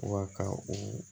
Wa ka o